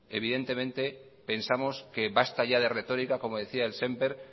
evidentemente pensamos que basta ya de retórica como decía el